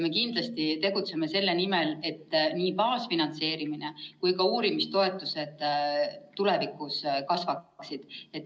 Me kindlasti tegutseme selle nimel, et nii baasfinantseerimine kui ka uurimistoetuste summa tulevikus kasvaksid.